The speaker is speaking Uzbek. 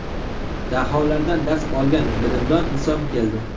Daholardan dars olgan Bilimdon inson keldi.